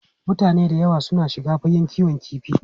Mutane da yawa suna shiga fagen kiwon kifi.